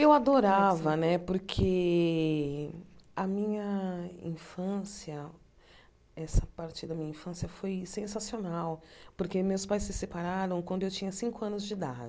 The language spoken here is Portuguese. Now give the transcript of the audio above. Eu adorava né, porque a minha infância, essa parte da minha infância foi sensacional, porque meus pais se separaram quando eu tinha cinco anos de